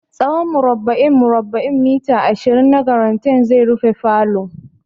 Tsawon murabba'in murabba'in mita ashirin na garanait zai rufe falo.